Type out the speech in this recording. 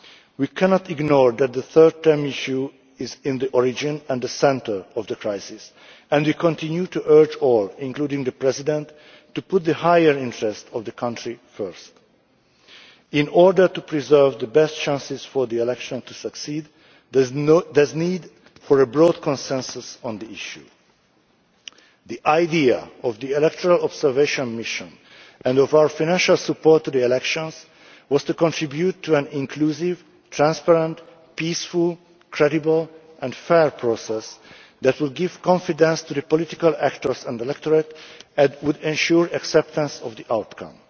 We cannot ignore the fact that the third term issue is at the origin and the centre of the crisis, and we continue to urge all, including the President, to put the higher interests of the country first. In order to preserve the best chances for the election to succeed, there is a need for a broad consensus on the issue. The idea of the electoral observation mission and of our financial support to the elections was to contribute to an inclusive, transparent, peaceful, credible and fair process that will give confidence to the political actors and electorate and would ensure acceptance of the outcome.